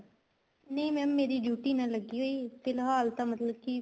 ਨਹੀਂ mam ਮੇਰੀ duty ਤਾਂ ਨਹੀਂ ਲੱਗੀ ਹੋਈ ਫ਼ਿਲਹਾਲ ਤਾਂ ਮਤਲਬ ਕੀ